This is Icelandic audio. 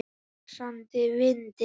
Í frosti, vaxandi vindi.